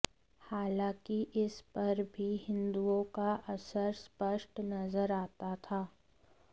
हालांकि इस पर भी हिंदुओं का असर स्पष्ट नज़र आता था